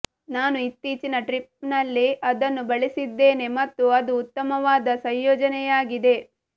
ನಾನು ಇತ್ತೀಚಿನ ಟ್ರಿಪ್ನಲ್ಲಿ ಅದನ್ನು ಬಳಸಿದ್ದೇನೆ ಮತ್ತು ಅದು ಉತ್ತಮವಾದ ಸಂಯೋಜನೆಯಾಗಿದೆ